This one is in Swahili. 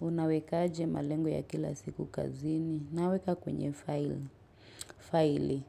Unaweka aje malengo ya kila siku kazini? Naweka kwenye file. File.